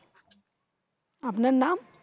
আপনার নাম?